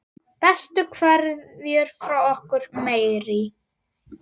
Bestu kveðjur frá okkur Marie.